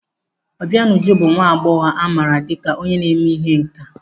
Obianuju bụ nwa agbọghọ amaara dịka onye na-eme ihe nkà.